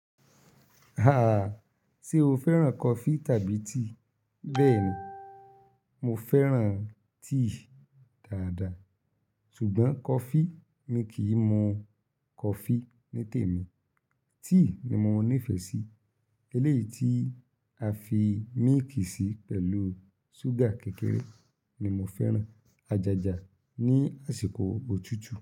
Se o fẹ́ràn coffee tàbí tea? Bẹ́ẹ̀ni, mo fẹ́ràn tea dáadáa ṣùgbọ́n coffee mi kì í mu coffee ní tèmi. Tea ni mo nífẹ̀ẹ́ sí, eléyìí tí a fi mílìkì sí pẹ̀lú ṣúgà kékeré ni mo fẹ́ràn. Ajaja ní àsìkò òtútù.